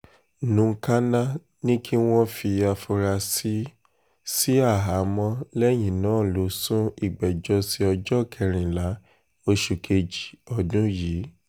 nukáká ní kí wọ́n fi àfúrásì sí àhámọ́ lẹ́yìn náà lọ sún ìgbẹ́jọ́ sí ọjọ́ kẹrìnlá oṣù kejì ọdún yìí